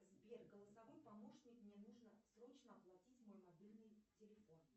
сбер голосовой помощник мне нужно срочно оплатить мой мобильный телефон